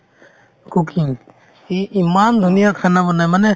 cooking সি ইমান ধুনীয়া khana বনাই মানে